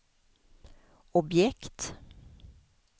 objekt